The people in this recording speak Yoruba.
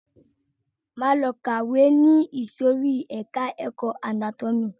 Máa lọ kàwé ni ìsòrí ẹka ẹ̀kọ́ anátómì.